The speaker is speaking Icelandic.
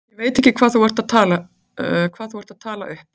Ég veit ekki hvað þú ert að tala upp.